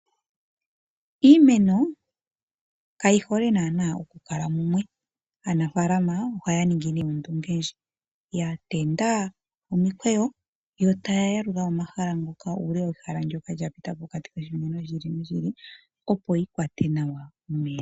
Iimeno kayi hole naanaa okukala mumwe. Aanafaalama ohaya ningi nduno ondunge ndjoka ya tenda omikweyo yo taya yalula ehala ndyoka lya pita pokati koshimeno noshimeno, opo yi kwate nawa omeya.